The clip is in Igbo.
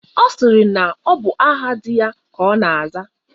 Ọ sịrị na ọ bụ aha di ya ka ọ na-aza.